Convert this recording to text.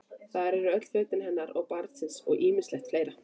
Þar eru öll föt hennar og barnsins og ýmislegt fleira.